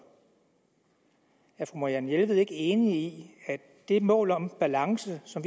er fru marianne jelved ikke enig i at det mål om balance som